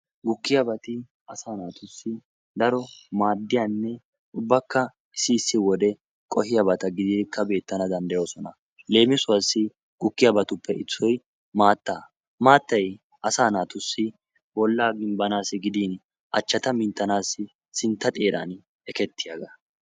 Gukkiyaabati asa naatussi daro maaddiyabanne ubbakka qohiyaaba gididikka beetanawukka danddayoosona. hegetuppekka issoy maatta. maattay asa naatussi bollata gimbbanassi gidin achchata minttanassi sintta xeeran ekketiyaaga.